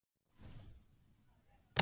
Sveinveig, hvað geturðu sagt mér um veðrið?